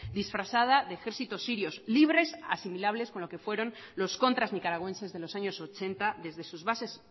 disfrazada de ejércitos sirios libres asimilables con lo que fueron los contras nicaragüenses de los años ochenta desde sus bases